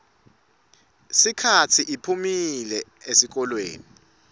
sikhatsi iphumile esihlokweni